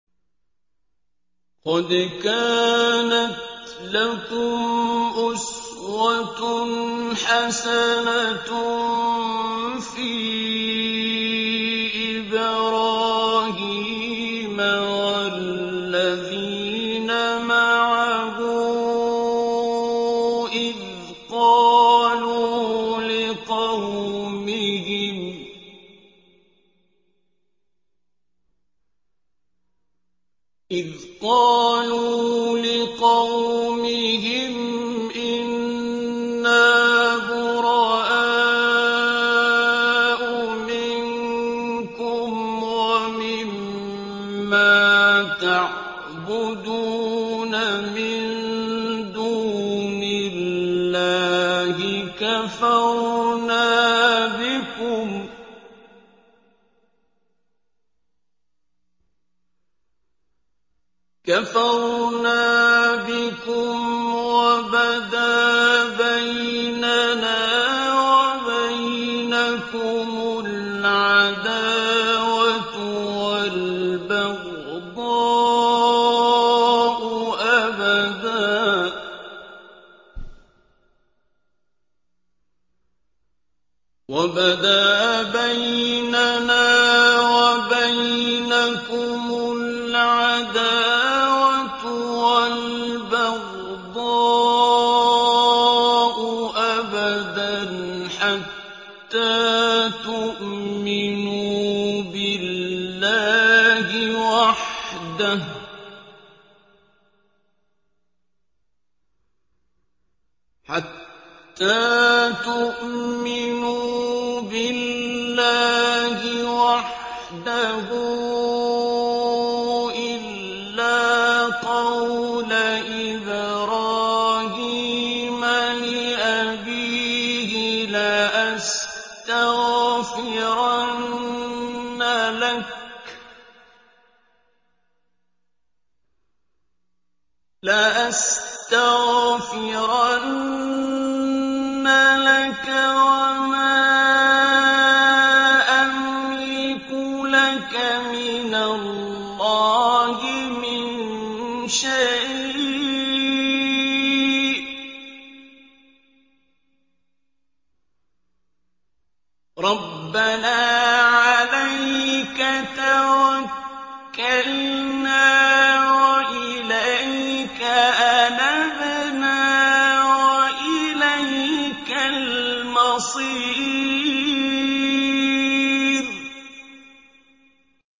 قَدْ كَانَتْ لَكُمْ أُسْوَةٌ حَسَنَةٌ فِي إِبْرَاهِيمَ وَالَّذِينَ مَعَهُ إِذْ قَالُوا لِقَوْمِهِمْ إِنَّا بُرَآءُ مِنكُمْ وَمِمَّا تَعْبُدُونَ مِن دُونِ اللَّهِ كَفَرْنَا بِكُمْ وَبَدَا بَيْنَنَا وَبَيْنَكُمُ الْعَدَاوَةُ وَالْبَغْضَاءُ أَبَدًا حَتَّىٰ تُؤْمِنُوا بِاللَّهِ وَحْدَهُ إِلَّا قَوْلَ إِبْرَاهِيمَ لِأَبِيهِ لَأَسْتَغْفِرَنَّ لَكَ وَمَا أَمْلِكُ لَكَ مِنَ اللَّهِ مِن شَيْءٍ ۖ رَّبَّنَا عَلَيْكَ تَوَكَّلْنَا وَإِلَيْكَ أَنَبْنَا وَإِلَيْكَ الْمَصِيرُ